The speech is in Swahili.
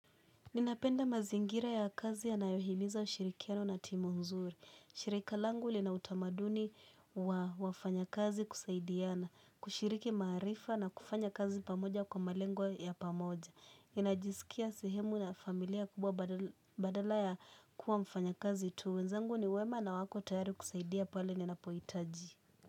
Ninapenda mazingira ya kazi yanayohimiza ushirikiano na timu nzuri. Shirika langu lina utamaduni wa wafanyakazi kusaidiana, kushiriki maarifa na kufanya kazi pamoja kwa malengwa ya pamoja. Ninajisikia sehemu na familia kubwa badala ya kuwa mfanyakazi tu. Wenzangu ni wema na wako tayari kusaidia pali ninapohitaji.